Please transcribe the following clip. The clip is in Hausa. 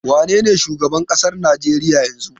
Wanene shugaban ƙasar Najeriya yanzu?